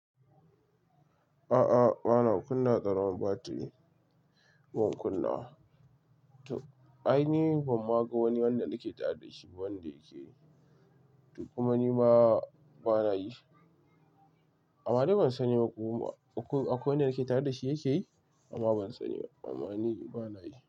A'a, bana kunna karamin batiri. Ban kunna, to ai ni ban ma ga wani wanda nake tare dashi wanda yake yi, to kuma nima, bana yi. Amma dai ban sani ko akwai, akwai wanda yake tare da shi yake yi, amma ban sani ba. Amma ni bana yi.